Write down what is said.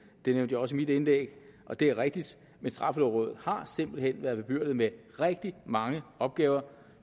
det nævnte jeg også i mit indlæg og det er rigtigt men straffelovrådet har simpelt hen været bebyrdet med rigtig mange opgaver